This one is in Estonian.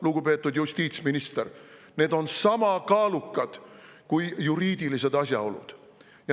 Lugupeetud justiitsminister, need on sama kaalukad kui juriidilised asjaolud.